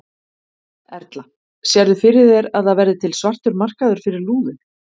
Erla: Sérðu fyrir þér að það verði til svartur markaður fyrir lúðu?